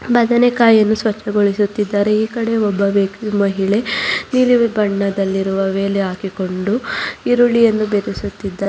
ಬದನೆಕಾಯಿಯನ್ನು ಸ್ವಚ್ಛಗೊಳಿಸುತ್ತಿದ್ದಾರೆ ಈ ಕಡೆ ಒಬ್ಬ ವ್ಯಕ್ತಿ ಮಹಿಳೆ ನೀಲಿ ಬಣ್ಣದಲ್ಲಿರುವ ವೇಲಿ ಹಾಕಿಕೊಂಡು ಈರುಳ್ಳಿಯನ್ನು ಬೆರೆಸುತ್ತಿದ್ದಾ--